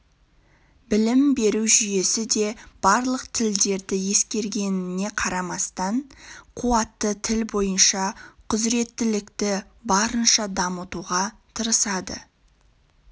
білім беру жүйесі де барлық тілдерді ескергеніне қарамастан қуатты тіл бойынша құзыреттілікті барынша дамытуға тырысады